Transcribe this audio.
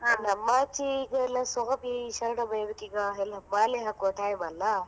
ಆಚೆ ಈಗ ಎಲ್ಲಾ ಸ್ವಾಮಿಯೇ ಶರಣಮೈ ಈಗ ಮಾಲೆ ಹಾಕುವ time ಅಲ್ಲ?